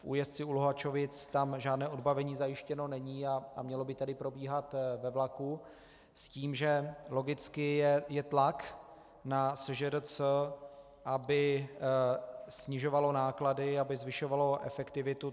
V Újezdci u Luhačovic tam žádné odbavení zajištěno není a mělo by tady probíhat ve vlaku s tím, že logicky je tlak na SŽDC, aby snižovala náklady, aby zvyšovala efektivitu.